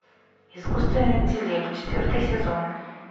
искусственный интеллект четвертый сезон